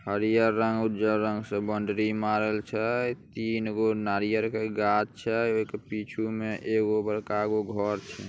हरिहर रंग से उजर रंग से बाउंड्री मार्बल छय तीनगो नारियल के गाछ छय ओके पिछु में एगो बड़कागो घर --